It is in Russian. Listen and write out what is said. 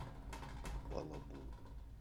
балабол